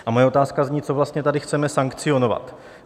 A moje otázka zní: Co vlastně tady chceme sankcionovat?